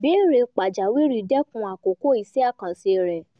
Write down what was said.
ìbéèrè pàjáwìrì dẹ̀kun àkókò iṣẹ́ àkànṣe rẹ̀